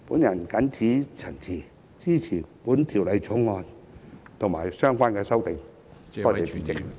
我謹此陳辭，支持《條例草案》及相關的修訂。